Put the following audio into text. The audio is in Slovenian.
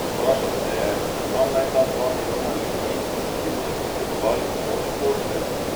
Vprašal se je, kam naj ta dva milijona ljudi, ki bodo potrebovali pomoč, pošljejo?